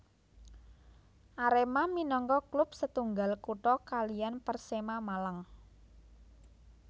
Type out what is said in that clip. Arema minangka klub setunggal kutha kaliyan Persema Malang